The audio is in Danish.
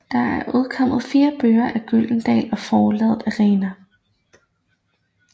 Der er udkommet fire bøger på Gyldendal og Forlaget Arena